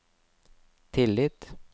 tillit